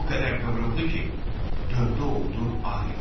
O qədər qıvrıldı ki, döndü oldu ağ ilan.